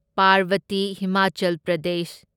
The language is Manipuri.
ꯄꯥꯔꯕꯇꯤ ꯍꯤꯃꯥꯆꯜ ꯄ꯭ꯔꯗꯦꯁ